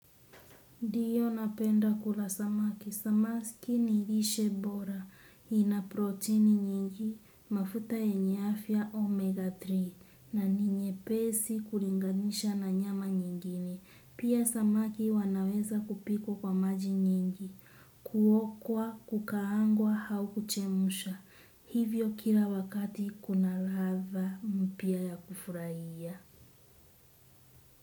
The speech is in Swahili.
Ndiyo napenda kula samaki, samaki nilishe bora, ina protini nyingi, mafuta yenye afya omega tatu, na ni nyepesi kulinganisha na nyama nyingine, pia samaki wanaweza kupikwa kwa maji nyingi, kuokwa, kukaangwa, hau kuchemsha, hivyo kila wakati kuna latha mpya ya kufurahia.